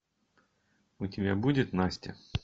у тебя будет настя